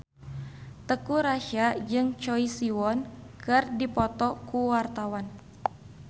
Teuku Rassya jeung Choi Siwon keur dipoto ku wartawan